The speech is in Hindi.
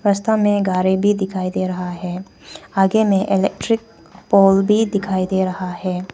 रास्ता में गाड़ी भी दिखाई दे रहा है आगे में इलेक्ट्रिक पोल भी दिखाई दे रहा है।